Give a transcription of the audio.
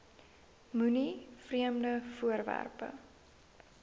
moenie vreemde voorwerpe